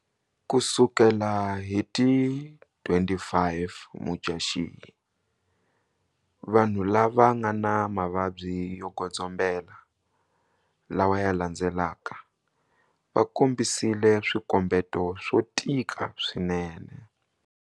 Ku sukela hi ti 25 Mudyaxihi, vanhu lava nga na mavabyi yo godzombela lawa ya landzelaka vakombisile swikombeto swo tika swinene.